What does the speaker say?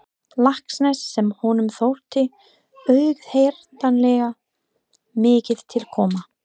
Laxness sem honum þótti auðheyranlega mikið til koma.